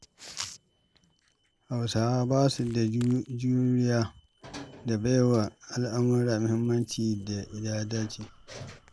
Hausawa ba su da juriya da baiwa al'amurra muhimmancin da ya dace.